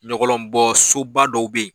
Ɲɔgɔlɔnbɔ soba dɔ bɛ yen